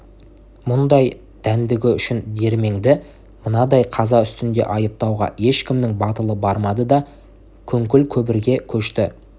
мұндай дәндігі үшін дүрменді мынандай қаза үстінде айыптауға ешкімнің батылы бармады да күңкіл-күбірге көшті